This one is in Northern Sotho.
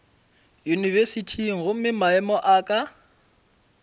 yunibesithing gomme maemo a ka